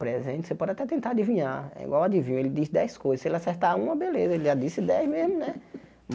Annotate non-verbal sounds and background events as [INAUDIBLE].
presente, você pode até tentar adivinhar, é igual adivinho, ele diz dez coisas, se ele acertar uma, beleza, [LAUGHS] ele já disse dez mesmo, né?